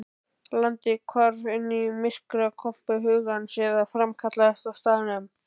Landið hvarf inn í myrkrakompu hugans eða framkallaðist á staðnum.